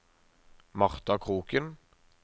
Martha Kroken